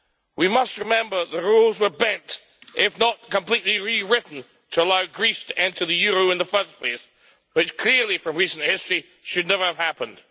We must remember that rules were bent, if not completely rewritten, to allow Greece to enter the euro in the first place, which clearly from recent history should never have happened.